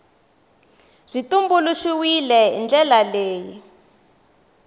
byi tumbuluxiwile hi ndlela leyi